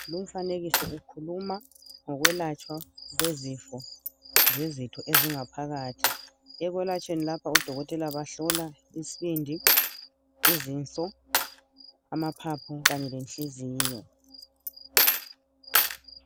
Lumfanekiso ukhuluma ngokwelatshwa kwezifo zezitho ezingaphakathi . Ekwalatshweni lapha odokotela bahlola isbindi ,izinso amaphaphu kanye lenhliziyo .